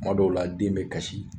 Tuma dɔw la den bɛ kasi